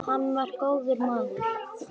Hann var góður maður.